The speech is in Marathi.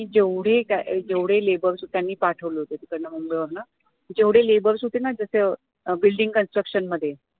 जेवढे अं जेवढे labours होते त्यांनी पाठवले होते तिकडनं मुंबई वरण जेवढे labours होते ना building construction मध्ये